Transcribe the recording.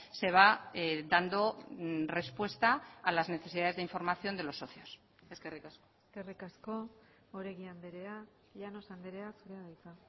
se va dando respuesta a las necesidades de información de los socios eskerrik asko eskerrik asko oregi andrea llanos andrea zurea da hitza